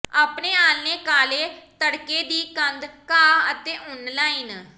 ਆਪਣੇ ਆਲ੍ਹਣੇ ਕਾਲੇ ਤਡ਼ਕੇ ਦੀ ਕੰਧ ਘਾਹ ਅਤੇ ਉੱਨ ਲਾਈਨ